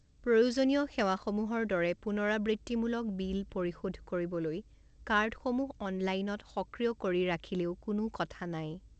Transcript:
প্ৰয়োজনীয় সেৱাসমূহৰ দৰে পুনৰাবৃত্তিমূলক বিল পৰিশোধ কৰিবলৈ কাৰ্ডসমূহ অনলাইনত সক্ৰিয় কৰি ৰাখিলেও কোনো কথা নাই।